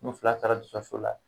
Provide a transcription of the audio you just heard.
N'u fila dɔtɔriso la